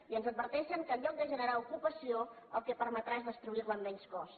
i ens adverteixen que en lloc de generar ocupació el que permetrà és destruir la amb menys cost